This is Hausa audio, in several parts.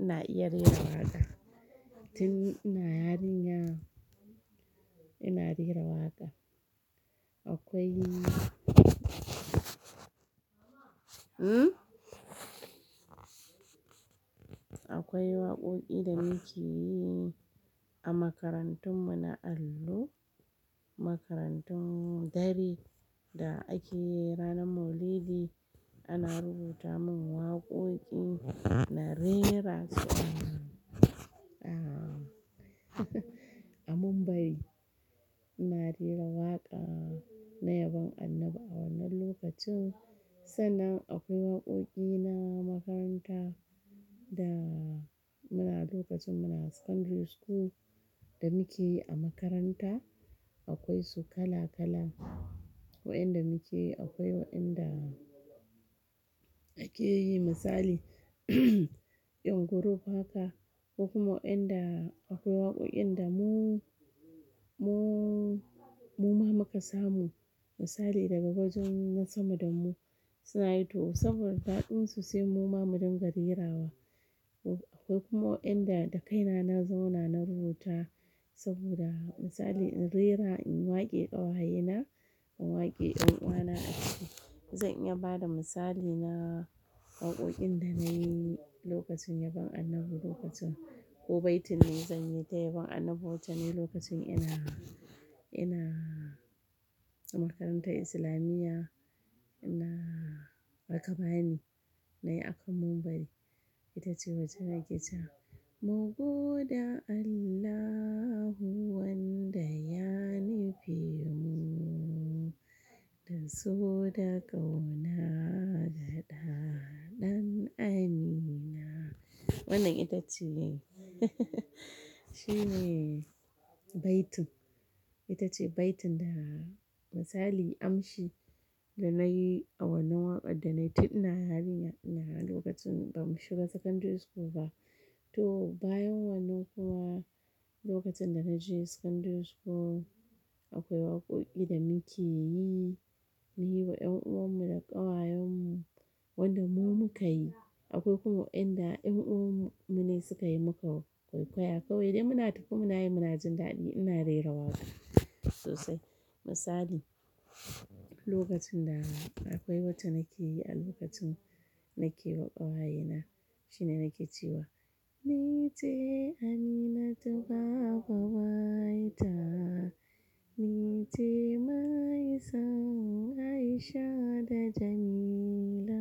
Ina iya rera waƙa, tin ina yarinya ina rera waƙa. Akwai akwai waƙoƙi da muke yi a makarantun mu na allo, makarantun dare da ake yi ranar Maulidi ana rubuta mun waƙoƙi na rerasa a Mumbari. Ina rera waƙa na yabon Annabi a wannan lokacin, sannan akwai waƙoƙi na makaranta da muna lokacin muna secondary school da muke yi a makaranta. Akwai su kala kala waɗanda muke yi, akwai waɗanda ake yi misali ɗan group haka, akwai kuma waɗanda akwai waƙoƙin da mu, mu ma muka samu misali daga wajan wasu madan mu suna yi to saboda daɗin su sai mu ma mu dinga rerawa. Akwai kuma waɗanda da kaina na zauna na rubuta saboda misali in rera in wake ƙawayena in wake ƴan uwana. Zan iya bada misali na waƙoƙin da na yi lokacin yabon Annabi lokacin, ko baitin ne zan yi ta yabon Annabi wata mai lokacin ina, ina a makarantar Islamiyya ina rakabani na yi a kan Mumbari. Ita ce wacce nake cewa "mugu da Allahu wanda ya nife mu da so da ƙauna ga ɗaha ɗan Amina". Wannan ita ce shine baitin, ita ce baitin da misali amshi da na yi a wannan waƙa da na yi tin ina yarinya ina lokacin ba mu shiga secondary school ba. To bayan wannan kuma lokacin da na je secondary school akwai waƙoƙi da muke yi na yi wa ƴan uwan mu da ƙawayen mu wanda mu muka yi. Akwai kuma waɗanda ƴan uwan mu ne suka yi muka kwaikwaya kawai dai muna tafi muna yi munajin daɗi ina rera waƙa sosai. Misali lokacin da akwai wata na ke yi a lokacin na ke wa ƙawaye na shine na ke ciwa "ni ce Aminat babba wayta, ni ce maisan Aisha da Jamila,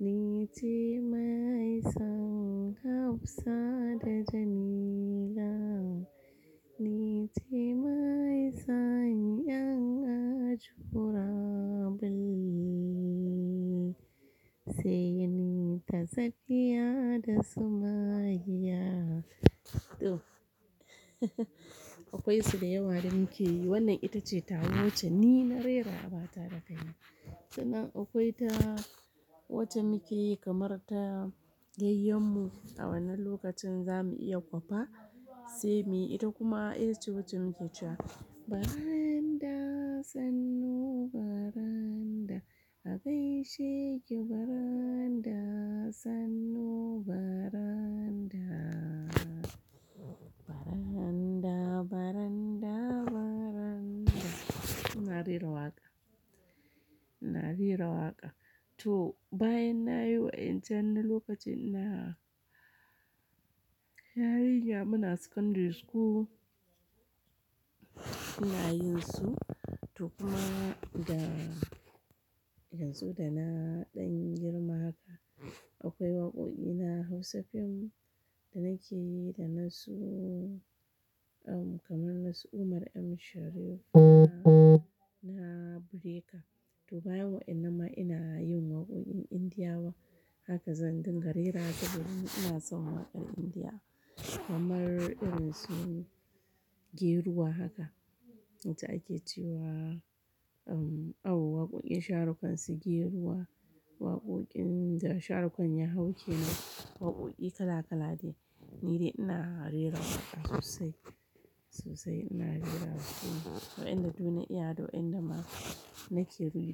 ni ce maisan Hafsa da Jamila, ni ce maisan Yangaju Rabul sai ni ta Sadiya da Sumayya". To akwai su da yawa da muke yi wannan ita ce ta wacce ni na rera abata da kaina. Sannan akwai ta wacce muke yi kamar ta yayyin mu a wannan lokacin za mu iya kwafa sai me ita kuma ita ce wacce muke cewa "baranda sannu baranda agai sheki baranda sannu baranda baranda baranda baranda". Ina rera waƙa, ina rera waƙa. To bayan na yi waƴancen na lokacin ina yarinya muna secondary school ina yin su to kuma da yanzu da na ɗan girma haka akwai waƙoƙi na Hausa fim da nake yi da nasu kamar nasu Umar M. Sharif na breaker. To bayan waƴan nan ma ina yin waƙoƙin Indiyawa haka zan dinga rera saboda ina son waƙar Indiya kamar irin su geruwa haka wacce ake cewa um a waƙoƙin Shah Rukh Khan su geruwa waƙoƙin da Shah Rukh Khan ya hau ke nan waƙoƙi kala kala ne ni dai ina rera sosai, sosai ina rera waƙoƙin waƴanda du na iya da waƴanda ma nake.